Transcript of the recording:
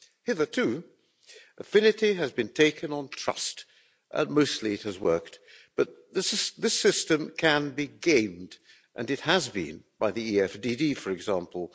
Hitherto, affinity has been taken on trust and mostly it has worked, but this the system can be gamed and it has been, by the EFDD, for example.